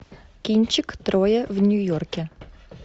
кинчик трое в нью йорке